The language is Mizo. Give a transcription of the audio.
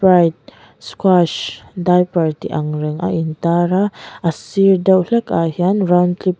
sprite squash diaper tih angreng a intara a sir deuh hlekah hian round clip --